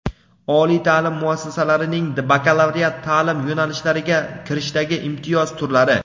Oliy ta’lim muassasalarining bakalavriat ta’lim yo‘nalishlariga kirishdagi imtiyoz turlari:.